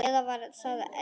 Eða var það Elísa?